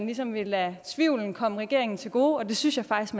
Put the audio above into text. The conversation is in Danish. ligesom vil lade tvivlen komme regeringen til gode og det synes jeg faktisk